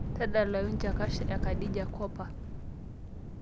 tadalayu chakacha e khadija kopa